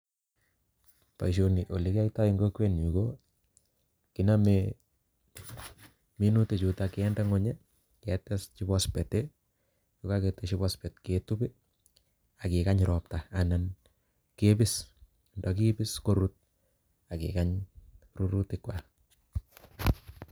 Boisioni ole kiyaitoi eng kokwenyu ko kiname minutik chutok kinde nguny ii ak keteshi phophate ii ko kaketeshi phosphate ketup ii ak kikany ropta anan kebis, ndakebis korut ak kikany rurutik kwak.